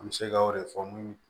An bɛ se ka o de fɔ